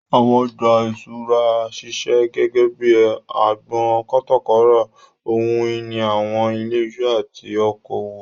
Àwọn ọjà ìṣúra ń ṣiṣẹ́ gẹ́gẹ́ bíi agbọn kátàkárà ohun ìní àwọn ilé iṣẹ́ àti oko òwò.